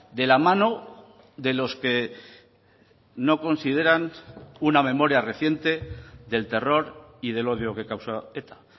de la mano de los que no consideran una memoria reciente del terror y del odio que causa eta